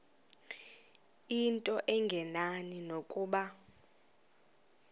into engenani nokuba